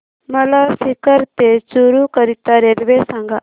मला सीकर ते चुरु करीता रेल्वे सांगा